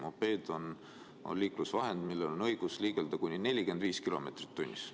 Mopeed on liiklusvahend, millel on õigus liigelda kuni 45 kilomeetrit tunnis.